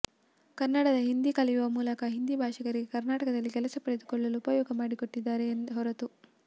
ಕನ್ನಡಿಗ ಹಿಂದಿ ಕಲಿಯುವ ಮೂಲಕ ಹಿಂದಿ ಭಾಷಿಕರಿಗೆ ಕರ್ನಾಟಕದಲ್ಲಿ ಕೆಲಸ ಪಡೆದುಕೊಳ್ಳಲು ಉಪಯೋಗ ಮಾಡಿಕೊಟ್ಟಿದ್ದಾನೆ ಹೊರೆತು